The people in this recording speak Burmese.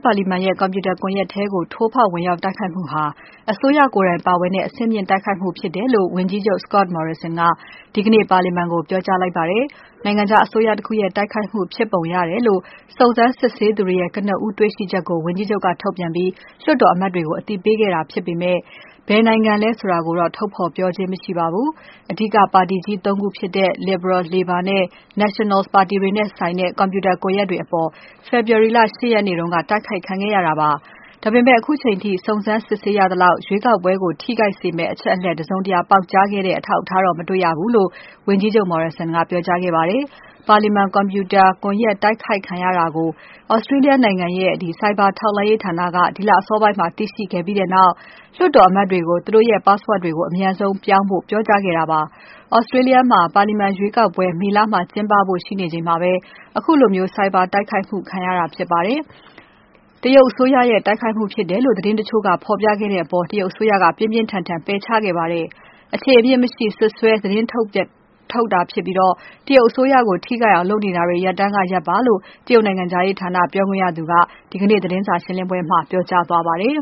ပါလီမာန်ရဲ့ ကွန်ပြူတာ ကွန်ယက်ထဲကို ထိုးဖောက်ဝင်ရောက်တိုက်ခိုက်မှုဟာ အစိုးရ ကိုယ်တိုင် ပါဝင်တဲ့ အဆင့်မြင့်တိုက်ခိုက်မှုဖြစ်တယ်လို့ ဝန်ကြီးချုပ် Scott Morrison ကဒီကနေ့ ပါလီမာန်ကို ပြောကြားခဲ့ပါတယ်။ နိုင်ငံခြားအစိုးရတခုရဲ့ တိုက်ခိုက်မှုဖြစ်ပုံရတယ်လို့ စုံစမ်းစစ်ဆေးသူတွေရဲ့ ကနဦးတွေ့ရှိချက်ကို ဝန်ကြီးချုပ်က ထုတ်ပြန်ပြီး လွှတ်တော်အမတ်တွေကို အသိပေးတာဖြစ်ပေမယ့် ဘယ်နိုင်ငံလဲ ဆိုတာကိုတော့ ထုတ်ဖော်ပြောခြင်းမရှိပါဘူး။ အဓိကပါတီကြီး ၃ ခုဖြစ်တဲ့ Liberal၊ Labor နဲ့ Nationals ပါတီတွေနဲ့ဆိုင်တဲ့ Computer ကွန်ယက်တွေအပေါ် ဖေဖော်ဝါရီ လ ၈ ရက်နေ့က တိုက်ခိုက်ခံခဲ့ရတာဖြစ်ပါတယ်။ ဒါပေမဲ့ ခုချိန်ထိ စုံစမ်းစစ်ဆေးရသလောက် ရွေးကောက်ပွဲကို ထိခိုက်စေမယ့်အချက်အလက် တစုံတရာပေါက်ကြားခဲ့တဲ့ အထောက်အထားမတွေ့ရဘူးလို့ ဝန်ကြီးချုပ် Morrison ကပြောကြားခဲ့ပါတယ်။ ပါလီမာန် ကွန်ပြူတာ ကွန်ယက် တိုက်ခိုက်ခံရတာကို Australia နိုင်ငံရဲ့ ဆိုင်ဘာထောက်လှမ်းရေးဌာက ဒီလအစောပိုင်းမှာ သိရှိခဲ့ပြီးနောက် လွှတ်တော်အမတ်တွေကို သူတို့ရဲ့ Password တွေကို အမြန်ဆုံးပြောင်းဖို့ ပြောကြားခဲ့တာပါ။ Australia မှာ ပါလီမာန်ရွေးကောက်ပွဲ မေလမှာ ကျင်းပဖို့ရှိနေချိန်မှာ ခုလိုဆိုင်ဘာတိုက်ခိုက်မှု ခံရတာဖြစ်ပါတယ်။ တရုတ်အစိုးရရဲ့ တိုက်ခိုက်မှုုဖြစ်တယ်လို့ သတင်းတချို့ကဖော်ပြခဲ့တဲ့အပေါ် တရုတ်အစိုးရက ပြင်းပြင်းထန်ထန် ပယ်ချခဲ့ပါတယ်။ အခြေအမြစ်မရှိ စွပ်စွဲသတင်းထုတ်ပြန်ပြီး တရုတ်အစိုးရထိခိုက်အောင်လုပ်နေတာတွေ ရပ်တန်းကရပ်ပါလို့ တရုတ်နိုင်ငံခြားရေးဌာန ပြောခွင့်ရသူက ဒီကနေ့ သတင်းစာရှင်းပွဲမှာ ပြောကြားခဲ့ပါတယ်